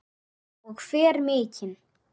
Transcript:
Og fer mikinn.